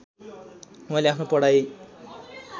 उहाँले आफ्नो पढाइ